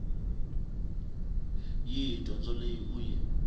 yihi dyondzo leyi u yi